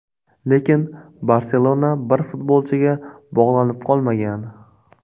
Lekin ‘Barselona’ bir futbolchiga bog‘lanib qolmagan.